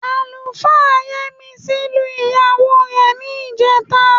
Àlùfáà Yẹ́misí lu ìyàwó rẹ̀ ní ìjẹta